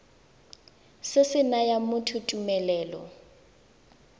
se se nayang motho tumelelo